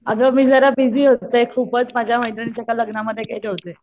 अगं मी जरा बिझी होतें खुपचं माझ्या मैत्रिणीच्या एका लग्नांमध्ये गेले होते.